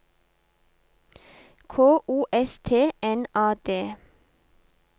K O S T N A D